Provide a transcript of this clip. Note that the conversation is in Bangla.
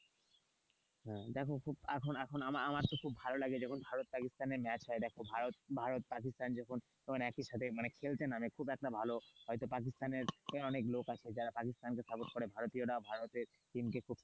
হ্যাঁ দেখো খুব এখন এখন আমার তো আমার তো খুব ভালো লাগে যখন ভারত পাকিস্তানের ম্যাচ হয় দেখো ভারত ভারত পাকিস্তান যখন একই সাথে যখন খেলতে নামে খুব একটা হয়তো পাকিস্তানের অনেক লোক আছে যারা পাকিস্তানকে support করে ভারতীয়রা ভারতের টিমকে খুব,